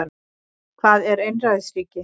Hvað er einræðisríki?